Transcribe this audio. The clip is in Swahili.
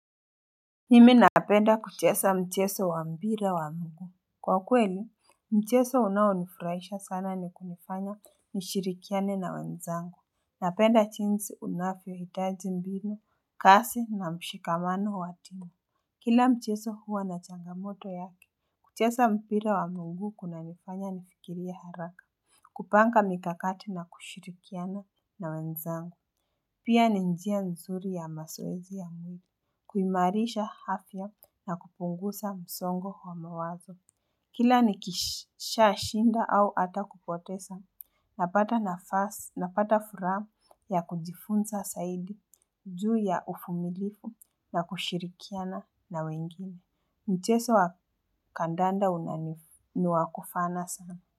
Mimi napenda kuchesa mcheso wa mbira wa mguu. Kwa kweli, mcheso unaonifurahisha sana ni kunifanya nishirikiane na wenzangu. Napenda chinsi unafyo hitaji mbinu, kasi na mshikamano wa tina. Kila mcheso huwa na changamoto yake. Kuchesa mpira wa mguu kuna nifanya nifikirie haraka. Kupanga mikakati na kushirikiana na wenzangu. Pia ni njia nzuri ya masoezi ya mwili. Kuimarisha hafya na kupungusa msongo wa mawazo. Kila nikisha shinda au ata kupotesa napata nafasi napata furaa ya kujifunsa saidi juu ya ufumilifu na kushirikiana na wengine mcheso wa kandanda unani ni wa kufana sana.